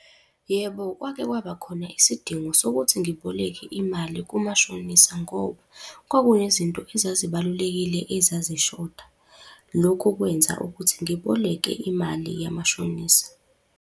Yebo, kwake kwaba khona isidingo sokuthi ngiboleke imali kumashonisa ngoba, kwakunezinto ezazibalulekile ezazishoda. Lokhu kwenza ukuthi ngiboleke imali yamashonisa.